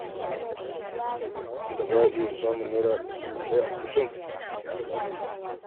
Wanda ba ya iya samun Naira dubu ɗaya a kullum ya zai yi.